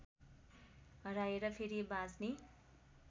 हराएर फेरि बाँच्ने